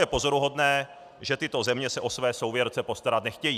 Je pozoruhodné, že tyto země se o své souvěrce postarat nechtějí.